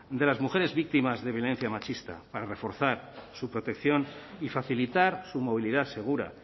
de las mujeres víctimas de violencia machista para reforzar su protección y facilitar su movilidad segura